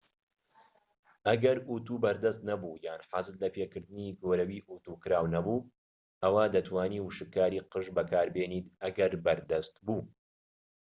ئەگەر ئوتو بەردەست نەبوو یان حەزت لە لەپێکردنی گۆرەویی ئوتو کراو نەبوو ئەوا دەتوانیت وشککاری قژ بەکاربێنیت ئەگەر بەردەست بوو